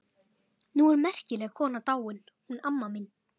Nú er merkileg kona dáin, hún amma mín.